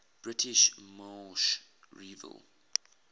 britain's moorish revival